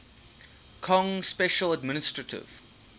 kong special administrative